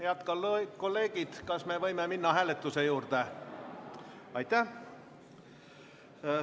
Head kolleegid, kas me võime minna hääletuse juurde?